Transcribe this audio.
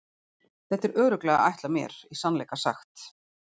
Þetta var örugglega ætlað mér í sannleika sagt.